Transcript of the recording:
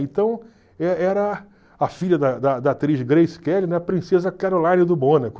Então, ee ra a filha da da da atriz Grace Kelly, né, a princesa Caroline do Mônaco.